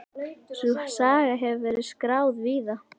Sú saga hefur verið skráð víða.